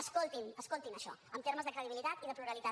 escoltin escoltin això en termes de credibilitat i de pluralitat